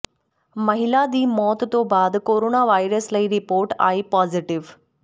ਮਹਿਲਾ ਦੀ ਮੌਤ ਤੋਂ ਬਾਅਦ ਕੋਰੋਨਾ ਵਾਇਰਸ ਲਈ ਰੀਪੋਰਟ ਆਈ ਪਾਜ਼ੇਟਿਵ